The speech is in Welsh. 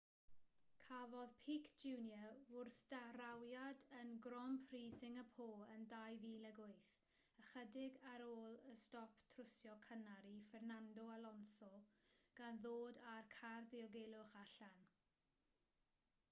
cafodd pique jr wrthdrawiad yn grand prix singapore yn 2008 ychydig ar ôl y stop trwsio cynnar i fernando alonso gan ddod â'r car diogelwch allan